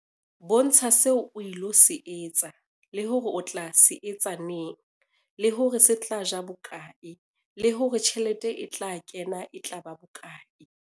Bontsha seo o ilo se etsa, le hore o tla se etsa neng, le hore se tla ja bokae, le hore tjhelete e tla kena e tla ba bokae.